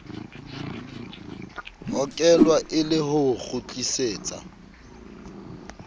hokelwa e le ho kgutlisetsa